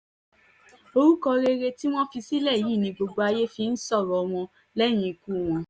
orúkọ rere tí wọ́n fi sílẹ̀ yìí ni gbogbo ayé fi ń sọ̀rọ̀ wọn lẹ́yìn ikú wọn yìí